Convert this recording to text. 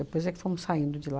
é que fomos saindo de lá.